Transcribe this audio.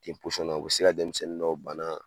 Ten na, u be se ka denmisɛnnin dɔ banna